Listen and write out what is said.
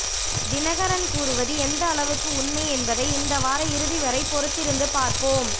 தினகரன் கூறுவது எந்த அளவுக்கு உண்மை என்பதை இந்த வார இறுதி வரை பொறுத்திருந்து பார்ப்போம்